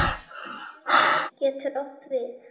Meðal slíkra postula eru